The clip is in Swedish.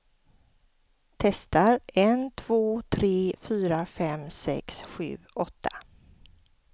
Testar en två tre fyra fem sex sju åtta.